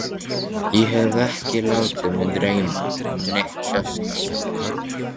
Ég hef ekki látið mig dreyma um neitt sérstakt, mamma.